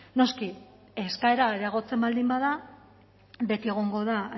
noski eskaera areagotzen baldin bada beti egongo da